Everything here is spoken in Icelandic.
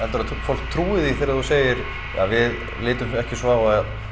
fólk trúi því þegar þú segir ja við litum ekki svo á